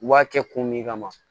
U b'a kɛ kun min kama